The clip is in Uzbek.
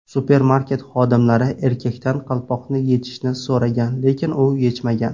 Supermarket xodimlari erkakdan qalpoqni yechishni so‘ragan, lekin u yechmagan.